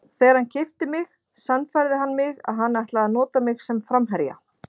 Þegar hann keypti mig sannfærði hann mig að hann ætlaði að nota mig sem framherja.